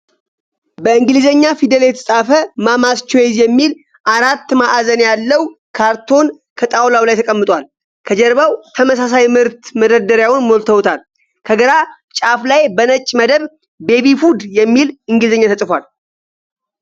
በእንግሊዘኛ ፊደል የተፃፈ "ማማስ ቾይስ " የሚል አራት ማዕዘን ያለዉ ካርቶን ከጣዉላዉ ላይ ተቀምጣል። ከጀርባ ተመሳሳይ ምርት መደርደሪያዉን ሞልተዉታል። ከግራ ጫፍ ላይ በነጭ መደብ " ቤቢ ፉድ" የሚል እንግሊዘኛ ተፅፏል።